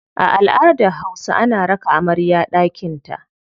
A aladar hausa, ana raka amarya daƙinta.